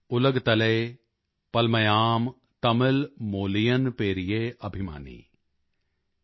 ਨਾਨ ਉਲਗਤਲਯੇ ਪਲਮਾਯਾਂ ਤਮਿਲ ਮੋਲਿਯਨ ਪੇਰਿਯੇ ਅਭਿਮਾਨੀ